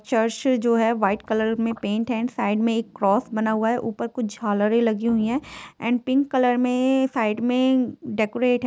church जो हें white colour में पेंट हें एंड साईड में एक क्रोस बना हुआ है ऊपर कुछ झालरे लगी हुई है एंड पिंक कलर में साईड में डेकुरेट --